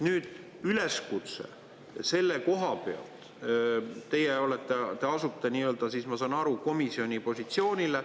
Nüüd üleskutse selle koha pealt, et teie asute siis, ma saan aru, komisjoni positsioonile.